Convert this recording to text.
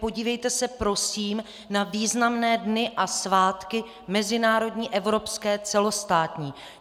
Podívejte se prosím na významné dny a svátky mezinárodní, evropské, celostátní.